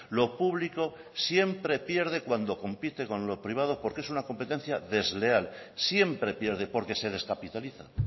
lo público siempre pierde cuando compite con lo privado porque es una competencia desleal siempre pierde porque se descapitaliza